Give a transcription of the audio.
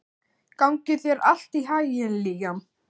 Gangi þér allt í haginn, Liam.